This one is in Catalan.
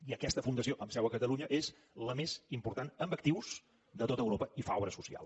i aquesta fundació amb seu a catalunya és la més important en actius de tot europa i fa obra social